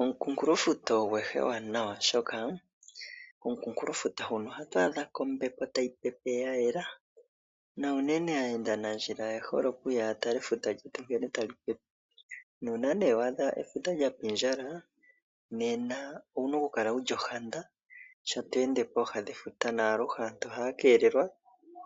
Omukunkulofuta ogo ehala ewanawa, oshoka komukunkulofuta huno ohatu adha ko ombepo tayi pepe ya yela nuunene aayendanandjila oye hole okuya ya tale efuta lyetu nkene tali pepe nuuna nduno wa adha efuta lya pindjala owu na okukala wu li ohanda sho to ende pooha dhefuta naaluhe aantu ohaya keelelwa